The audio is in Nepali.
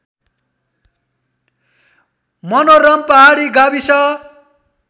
मनोरम पहाडी गाविस